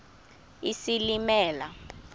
isilimela